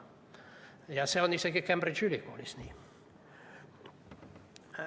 Ja see on isegi Cambridge'i ülikoolis nii.